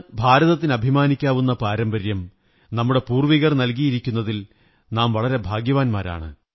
ഭാരതത്തിന് അഭിമാനിക്കാനാകുന്ന പാരമ്പര്യം നമ്മുടെ പൂര്വ്വി കർ നല്കിനയിരിക്കുന്നതിൽ നാം വളരെ ഭാഗ്യവാന്മാരാണ്